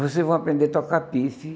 Vocês vão aprender a tocar.